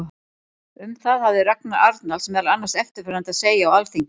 Um það hafði Ragnar Arnalds meðal annars eftirfarandi að segja á Alþingi